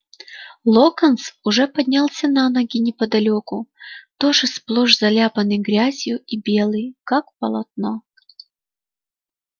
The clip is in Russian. локонс уже поднялся на ноги неподалёку тоже сплошь заляпанный грязью и белый как полотно